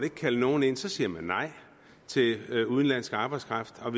ikke kalde nogen ind så siger man nej til udenlandsk arbejdskraft og